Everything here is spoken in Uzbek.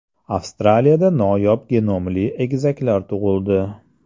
Avstraliyada noyob genomli egizaklar tug‘ildi.